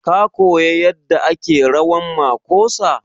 Ka koya yadda ake rawan makosa?